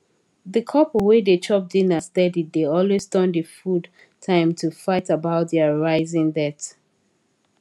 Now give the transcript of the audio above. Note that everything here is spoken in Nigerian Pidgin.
the couple wey dey chop dinner steady dey always turn the food time to fight about their rising debt